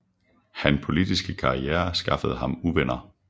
Han politiske karriere skaffede ham uvenner